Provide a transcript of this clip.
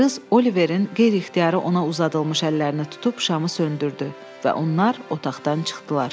Qız Oliverin qeyri-ixtiyari ona uzadılmış əllərini tutub şamı söndürdü və onlar otaqdan çıxdılar.